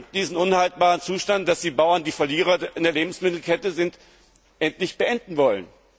diesen unhaltbaren Zustand, dass die Bauern die Verlierer in der Lebensmittelkette sind, endlich beenden wollen.